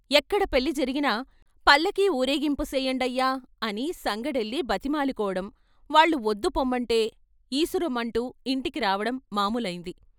ఎక్కడ పెళ్ళి జరిగినా పల్లకీ ఊరేగింపు సెయ్యండయ్యా అని సంగడెళ్ళి బతిమాలుకోవడం వాళ్ళు వద్దు పొమ్మంటే ఈసురోమంటూ ఇంటికి రావడం మామూలైంది.